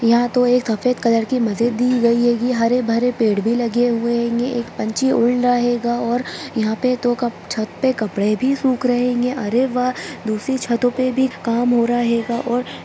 यहाँ तो एक सफ़ेद कलर की मस्जिद दी गयी हेगी हरे-भरे पेड़ भी लगे हुऐ हेंगे एक पंछी उड़ रहा हेंगा और यहाँ पे दो छत पे कपड़े भी सूख रहे हेंगे अरे वाह दूसरी छत्तों पे भी काम हो रहा हेगा और --